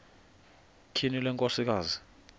tyhini le nkosikazi